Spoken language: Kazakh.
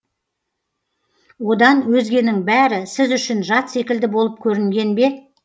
одан өзгенің бәрі сіз үшін жат секілді болып көрінген бе